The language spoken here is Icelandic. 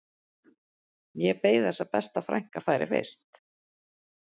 Ég beið þess að besta frænka færi fyrst